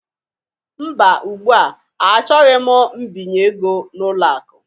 Mba, ugbu a, achọghị m mbinye ego n'ụlọ akụ